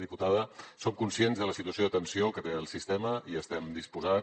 diputada som conscients de la situació de tensió que té el sistema i estem disposats